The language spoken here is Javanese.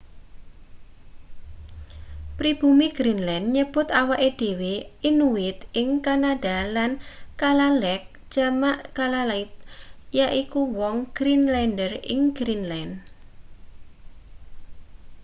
pribumi greenland nyebut awake dhewe inuit ing kanada lan kalaalleq jamak kalaallit yaiku wong greenlander ing greenland